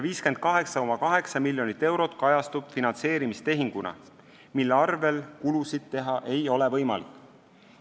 58,8 miljonit eurot kajastub finantseerimistehinguna, mille arvel ei ole võimalik kulusid teha.